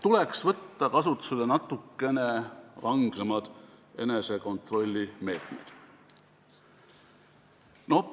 Tuleks võtta natukene rangemaid enesekontrolli meetmeid.